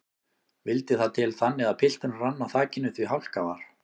Vildi það til þannig að pilturinn rann á þakinu því hálka var.